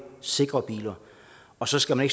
sikre biler og så skal man